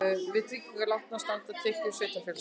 Til tryggingar láninu standa tekjur sveitarfélagsins